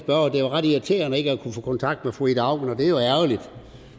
er ret irriterende ikke at kunne få kontakt med fru ida auken og det er jo ærgerligt